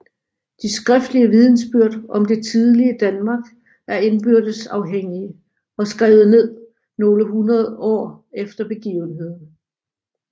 De skriftlige vidnesbyrd om det tidlige Danmark er indbyrdes afhængige og skrevet ned nogle hundrede år efter begivenhederne